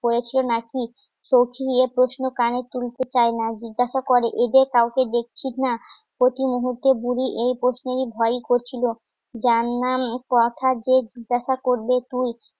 করেছো নাকি? চোখ নিয়ে প্রশ্ন কানে তুলতে চাই না জিজ্ঞাসা করে এদের কাউকে দেখছিস না প্রতি মুহূর্তে বুড়ি এই প্রশ্নেরই ভয়ই করছিল যার নাম কথা যে জিজ্ঞাসা করবে তুই